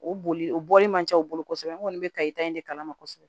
O boli o bɔli man ca u bolo kosɛbɛ n kɔni bɛ kayita in de kalama kosɛbɛ